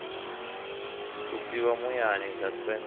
b u siwa muyani suspense